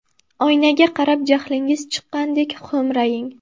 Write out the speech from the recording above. Oynaga qarab jahlingiz chiqqandek xo‘mraying.